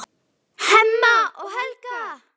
Hemma og Helga.